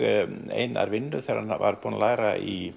Einar vinnu þegar hann var búinn að læra í